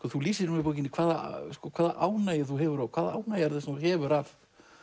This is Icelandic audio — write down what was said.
þú lýsir nú í bókinni hvaða hvaða ánægju þú hefur og hvaða ánægja er það sem þú hefur af